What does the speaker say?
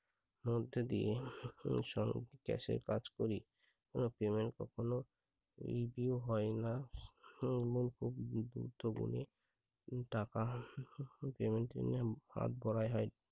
মধ্য দিয়ে cash এর কাজ করি। কোন payment কখনো review হয় না। মুগ্ধ মনে উম টাকা